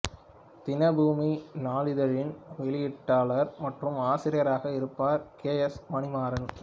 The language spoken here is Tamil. தினபூமி நாளிதழின் வெளியீட்டாளர் மற்றும் ஆசிரியராக இருப்பவர் கே எஸ் மணிமாறன்